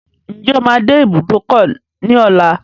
Ǹjẹ́ o máa dé ibùdókọ̀ ní ọlá?